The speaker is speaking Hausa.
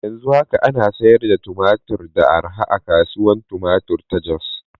Yanzu haka ana sayar da tumatur da arha a Kasuwar Tumatir ta Jos.